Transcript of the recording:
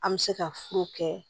An bɛ se ka furu kɛ